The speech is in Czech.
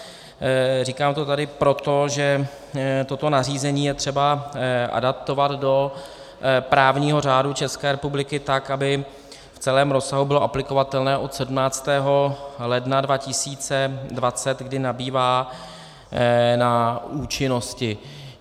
Říkám to tady proto, že toto nařízení je třeba adaptovat do právního řádu České republiky tak, aby v celém rozsahu bylo aplikovatelné od 17. ledna 2020, kdy nabývá na účinnosti.